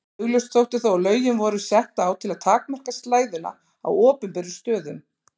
Augljóst þótti þó að lögin voru sett á til að takmarka slæðuna á opinberum stöðum.